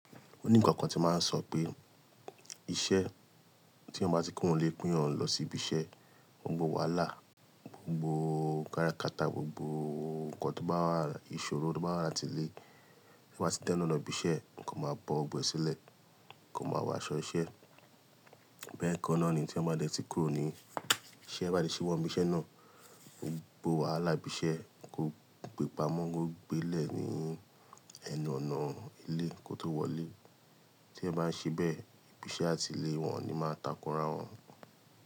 O ní ìkankan tí màá sọ pé iṣẹ́ tí èèyàn bá ti kúrò lé pé èyàn lọ sí ibi iṣẹ́, gbogbo wàhálà, gbogbo káràkátà, gbogbo nǹkan tó bá wà, ìṣòro tó bá wà láti ilé, to bá ti dẹ́nu ọ̀nà ibi iṣẹ́, ní kó máa bọ gbọ̀gbọ̀ ẹ sílẹ̀, kò máa wó áṣọ iṣẹ́. Bẹ́ẹ̀ kánná ni tí èyàn bá dẹ́ tí kúrò ní iṣẹ́, bá ti síwọ́ bi iṣẹ́ náà, gbogbo wàhálà ibi iṣẹ́, ko gbe pamọ́, kó gbé lè ní ẹnu ọ̀nà ilé kó tó wọlé. Tí èyàn bá ń ṣe bẹ́ẹ̀, ibi iṣẹ́ àti ilé wọn ni máa takura wọn.